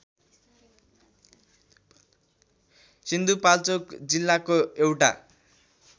सिन्धुपाल्चोक जिल्लाको एउटा